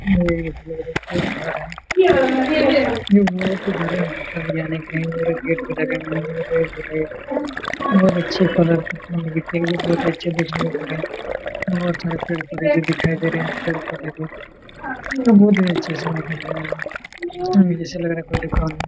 बहुत सारे पेड़-पौधे भी दिखाई दे रहे हैं पेड़-पौधे --